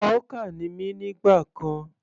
Hawker ni mí nígbà kan.